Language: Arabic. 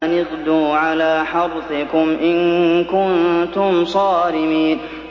أَنِ اغْدُوا عَلَىٰ حَرْثِكُمْ إِن كُنتُمْ صَارِمِينَ